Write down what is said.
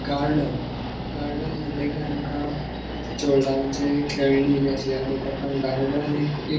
गार्डन आमी गार्डन म्हटले कि आमका खेळणी बी अशे याद येता पण गार्डन हे एक एक ----